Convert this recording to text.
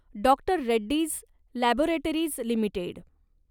doctor Reddy's laboratories limited